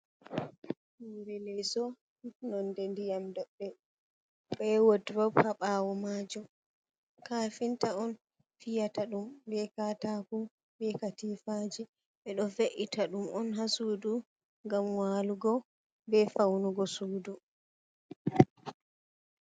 Hoore leeso. Nonde ndiyam doɗɗe, be wodurob ha ɓaawo maajum. Kafinta on fiyata ɗum be kataako be katifaaji. Ɓeɗo ve’ita ɗum on ha sudu ngam waalugo be faunugo sudu.